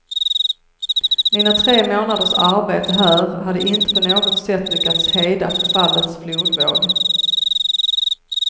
Mina tre månaders arbete här hade inte på något sätt lyckats hejda förfallets flodvåg.